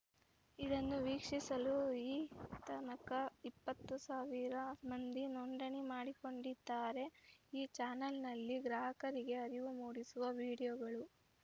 ಇದನ್ನು ವೀಕ್ಷಿಸಲು ಈತನಕ ಇಪ್ಪತ್ತು ಸಾವಿರ ಮಂದಿ ನೋಂದಣಿ ಮಾಡಿಕೊಂಡಿದ್ದಾರೆ ಈ ಚಾನಲ್‌ನಲ್ಲಿ ಗ್ರಾಹಕರಿಗೆ ಅರಿವು ಮೂಡಿಸುವ ವಿಡಿಯೋಗಳು